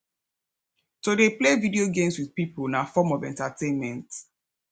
to de play video games with pipo na form of entertainment